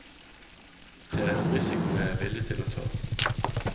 Det er en risiko jeg er villig til å ta.